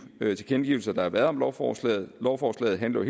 tilkendegivelser der har været lovforslaget lovforslaget handler